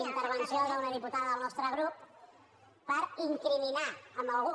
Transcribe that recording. intervenció d’una diputada del nostre grup perquè incriminava algú